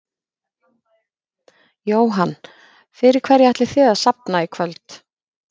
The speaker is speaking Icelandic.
Jóhann: Fyrir hverja ætlið þið að safna í kvöld?